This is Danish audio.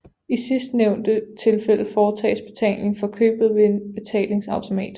I sidstnævnte tilfælde foretages betaling for købet ved en betalingsautomat